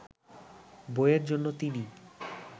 বইয়ের জন্য তিনি